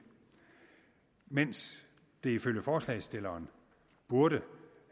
mens det ifølge forslagsstilleren burde